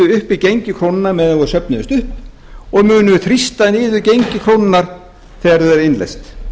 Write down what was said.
uppi gengi krónunnar meðan þau söfnuðust upp og munu þrýsta niður gengi krónunnar þegar þau eru innleyst